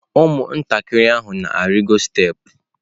Ụmụntakịrị ahụ na-arịgo steepụ.